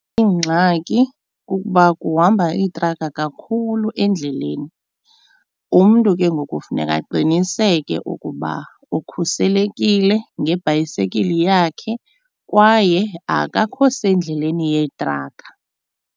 Ingxaki kukuba kuhamba iitrakaa kakhulu endleleni, umntu ke ngoku kufuneka aqiniseke ukuba ukhuselekile ngebhayisekile yakhe kwaye akakho sendleleni yeetraka.